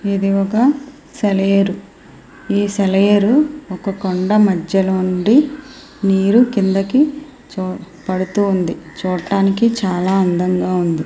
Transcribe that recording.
ఇది ఒక సెలయేరు. ఈ సెలయేరు ఒక కొండ మధ్యలో నుండి నీరు కిందకి పడుతోంది. చూడటానికి చాలా అందంగా ఉంది.